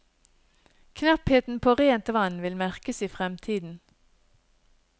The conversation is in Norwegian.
Knappheten på rent vann vil merkes i fremtiden.